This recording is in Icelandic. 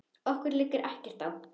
Okkur liggur ekkert á